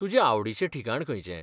तुजें आवडीचें ठिकाण खंयचें?